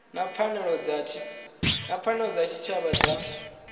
na pfanelo dza tshitshavha dza